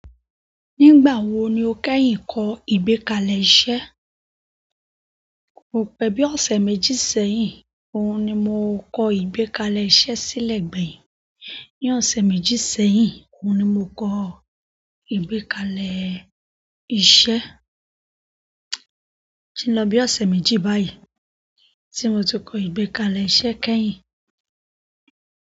Nígbà wo ni o kẹ́yìn kọ ìgbẹ́kalẹ̀ iṣẹ́? Kò pẹ́ bí ọ̀sẹ̀ méjì sẹ́yìn, òun ni mo kọ ìgbẹ́kalẹ̀ iṣẹ́ sílẹ̀ gbẹ̀yìn. Ni ọ̀sẹ̀ méjì sẹ́yìn, òun ni mo kọ ìgbẹ́kalẹ̀ iṣẹ́. O tin lọ bí ọ̀sẹ̀ méjì báyìí tí mo ti kọ ìgbẹ́kalẹ̀ iṣẹ́ kẹ́yìn.